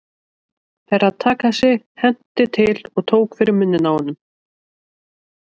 Herra Takashi hentist til og tók fyrir munninn á honum.